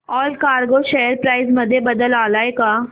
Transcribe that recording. Allcargo share price मध्ये बदल आलाय का